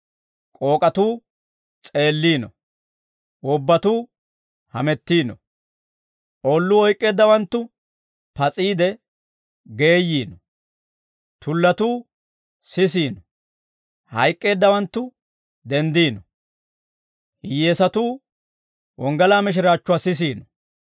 k'ook'atuu s'eelliino; wobbatuu hamettiino; oolluu oyk'k'eeddawanttu pas'iide geeyyiino; tullatuu sisiino; hayk'k'eeddawanttu denddiino; hiyyeesatuu wonggalaa mishiraachchuwaa sisiino.